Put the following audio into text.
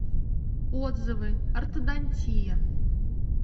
отзывы ортодонтия